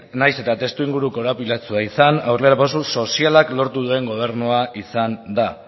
nahiz eta testuinguru korapilatsua izan aurrerapauso sozialak lortu duen gobernua izan da